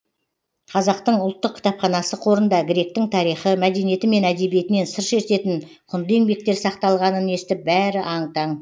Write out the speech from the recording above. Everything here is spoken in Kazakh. қазақтың ұлттық кітапханасы қорында гректің тарихы мәдениеті мен әдебиетінен сыр шертетін құнды еңбектер сақталғанын естіп бәрі аң таң